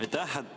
Aitäh!